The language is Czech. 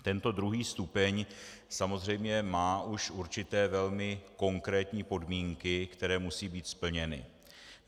Tento druhý stupeň samozřejmě má už určité velmi konkrétní podmínky, které musí být splněny.